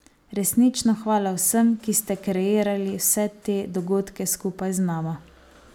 Resnično hvala vsem, ki ste kreirali vse te dogodke skupaj z nama.